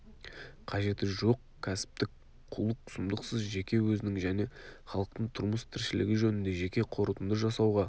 қажеті жоқ кәсіптік- қулық-сұмдықсыз жеке өзінің және халықтың тұрмыс тіршілігі жөнінде жеке қорытынды жасауға